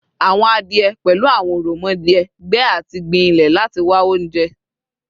Awọn adie, pẹlu awọn oromodie, gbe ati gbin ilẹ lati wa ounjẹ